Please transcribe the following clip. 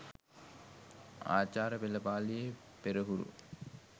ආචාර පෙළපාළියේ පෙරහුරු